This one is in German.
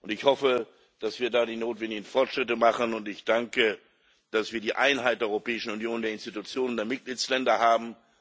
Ich hoffe, dass wir da die notwendigen Fortschritte machen, und ich danke, dass wir die Einheit der Europäischen Union, der Institutionen und der Mitgliedsländer haben.